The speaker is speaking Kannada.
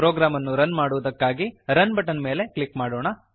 ಪ್ರೋಗ್ರಾಮ್ ಅನ್ನು ರನ್ ಮಾಡುವುದಕ್ಕಾಗಿ ರನ್ ಬಟನ್ ಮೇಲೆ ಕ್ಲಿಕ್ ಮಾಡೋಣ